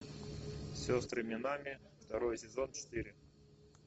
сестры минами второй сезон четыре